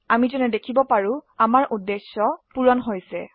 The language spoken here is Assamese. আমি দেখিবলৈ পাৰো যে আমাৰ উদ্দেশ্য পূৰণ হৈছা